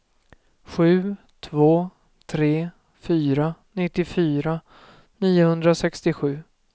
sju två tre fyra nittiofyra niohundrasextiosju